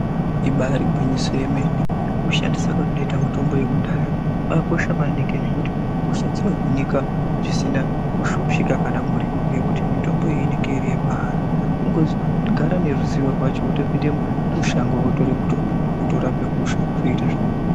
Ibari gwinyiso remene kushandisa kwatinoita mitombo yekudhaya kwakakosha maningi nekuti hosha dzinohinika zvisina kushupika kana muripo ngekuti mitombo iyi inenge iri yemahala kungogara neruzivo rwacho wotopinda mushango wotora mutombo wotorape hosha zvoita zvakanaka.